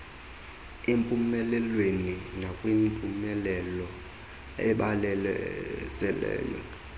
empumelelweni nakwimpumelelo ebalaseley